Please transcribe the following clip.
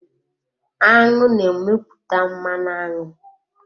Aṅụ na-emepụta mmanụ aṅụ.